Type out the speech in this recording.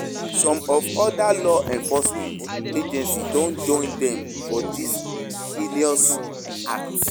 Some of oda law enforcement agencies don join dem for dis heinous act.